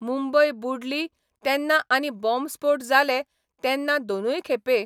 मुंबय बुडली तेन्ना आनी बाँबस्फोट जाले तेन्ना दोनूय खेपे